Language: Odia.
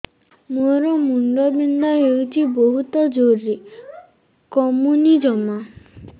ମୋର ମୁଣ୍ଡ ବିନ୍ଧା ହଉଛି ବହୁତ ଜୋରରେ କମୁନି ଜମା